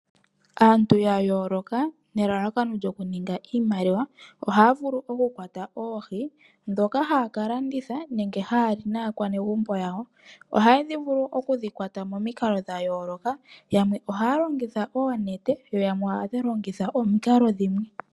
Aantu ya yooloka nelalakano lyoku ninga iimaliwa ohaya vulu oku kwata oohi ya kalandithe nenge haya li naakwanegumbo yawo. Ohaya longitha oonete yo yamwe ohaya longitha omikalo dhimwe.